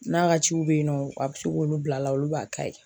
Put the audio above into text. N'a ka ciw bɛ yen nɔ a bɛ se k'olu bila a la olu b'a ka ye.